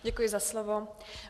Děkuji za slovo.